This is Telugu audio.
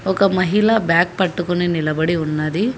ఒక మహిళ బ్యాగ్ పట్టుకుని నిలబడి ఉన్నది.